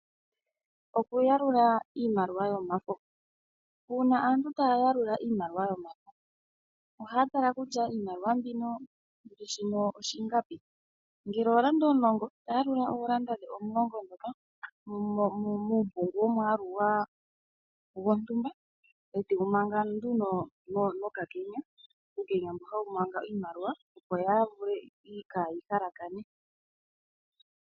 Okuyalula iimaliwa yomafo. Uuna aantu taya yakula iimaliwa yomafo ohaya tala kutya iimaliwa mbino ingapi ngele oolanda omulongo tayalula oolanda dhe omulongo ndhoka muumpungu womwaalu gontumba ete yi manga nduno no kakenya, uukenya mbu hawu manga iimaliwa mbo kaayi halakane.